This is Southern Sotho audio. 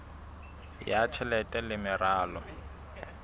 ya tjhelete le meralo ya